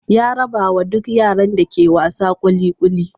Ya rabawa duk yaran da ke wasa kuli kuli.